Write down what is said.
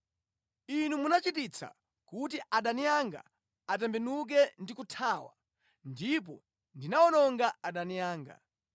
Inu muchititsa kuti adani anga atembenuke ndi kuthawa; ndipo ndinawononga adani anga.